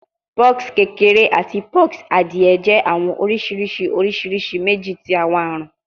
Pox kekere ati pox adie jẹ awọn oriṣiriṣi oriṣiriṣi meji ti awọn arun